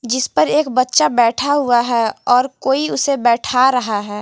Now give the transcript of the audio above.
जिस पर एक बच्चा बैठा हुआ है और कोई उसे बैठ रहा है।